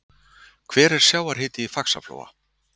hver er sjávarhiti í faxaflóa